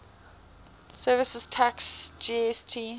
services tax gst